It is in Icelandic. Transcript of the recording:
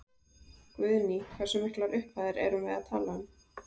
Guðný: Hversu miklar upphæðir erum við að tala um?